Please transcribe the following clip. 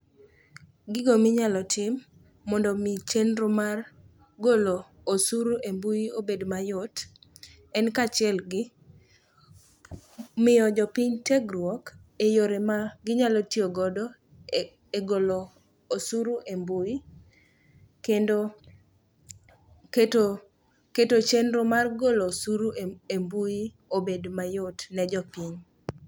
Gigo minyalo tim mondo omi chenro mar golo osuru e mbui obed mayot en kaachiel gi miyo jopiny tiegruok e yore ma ginyalo tiyogodo e golo osuru e mbui, kendo keto chenro mar golo osuru e mbui obed mayot ne jopiny.